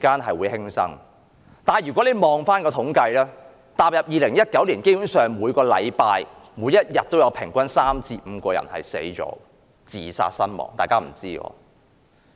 可是，如果你看回統計數字，踏入2019年，基本上，每天平均有3至5人自殺身亡。